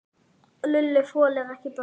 Lúlli þolir ekki börn.